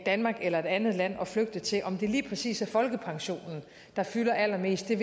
danmark eller et andet land at flygte til om det lige præcis er folkepensionen der fylder allermest vil